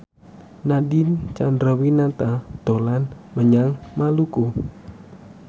Nadine Chandrawinata dolan menyang Maluku